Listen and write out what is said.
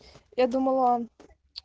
я думала